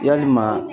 Yalima